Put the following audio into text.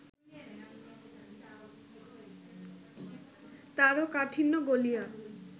তারও কাঠিন্য গলিয়া